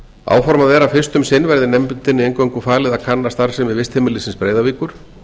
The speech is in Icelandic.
áformað er að fyrst um sinn verði nefndinni eingöngu falið að kanna starfsemi vistheimilisins breiðavíkur